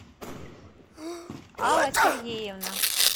алла сергеевна